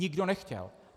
Nikdo nechtěl.